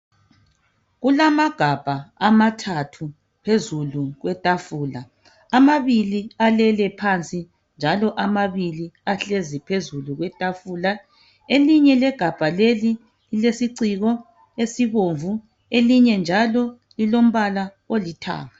Kulamagabha amathathu phezulu kwetafula. Amabili alele phansi njalo amabili ahlezi phezulu kwetafula. Elinye legabha leli lilesiciko esibomvu elinye njalo lilombala olithanga.